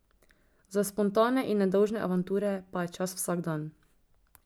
Za spontane in nedolžne avanture pa je čas vsak dan.